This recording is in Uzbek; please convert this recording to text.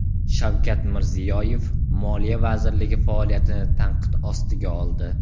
Shavkat Mirziyoyev Moliya vazirligi faoliyatini tanqid ostiga oldi.